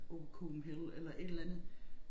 På COPENHELL eller et eller andet